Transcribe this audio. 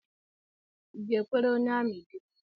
I ga-ekwere onye amị di?